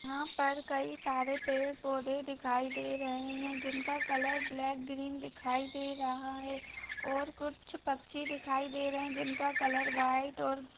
यहां पर कई सारे पेड़ पौधे दिखाई दे रहे है जिनका कलर ब्लैक ग्रीन दिखाई दे रहा है और कुछ पक्षी दिखाई दे रहे है जिनका कलर व्हाइट और--